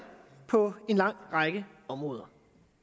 på en lang række områder